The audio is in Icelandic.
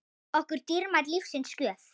okkur dýrmæt lífsins gjöf.